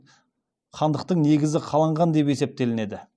хандықтың негізі қаланған деп есептелінеді